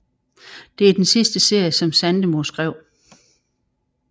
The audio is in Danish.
Det er den sidste serie som Sandemo skrev